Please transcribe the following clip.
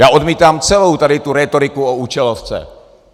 Já odmítám celou tady tu rétoriku o účelovce.